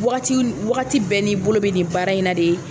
Wagati bɛɛ n'i bolo bɛ nin baara in na de